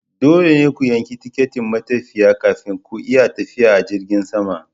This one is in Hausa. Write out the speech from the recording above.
Dole ne ku yanki tikitin matafiya kafin ku iya tafiya a jirgin sama.